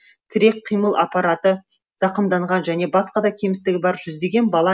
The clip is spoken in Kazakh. тірек қимыл аппараты зақымданған және басқа да кемістігі бар жүздеген бала